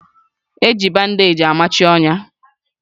Eji bandeeji amachi ọnya